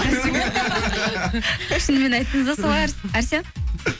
шынымен айттыңыз ба солай әрсен